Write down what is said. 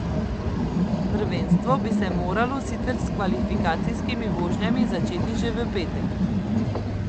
Prvenstvo bi se moralo sicer s kvalifikacijskimi vožnjami začeti že v petek.